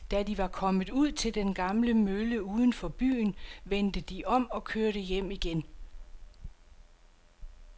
Da de var kommet ud til den gamle mølle uden for byen, vendte de om og kørte hjem igen.